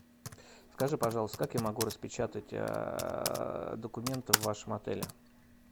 скажи пожалуйста как я могу распечатать документы в вашем отеле